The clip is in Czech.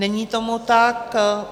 Není tomu tak.